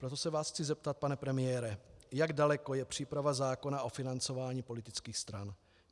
Proto se vás chci zeptat, pane premiére, jak daleko je příprava zákona o financování politických stran.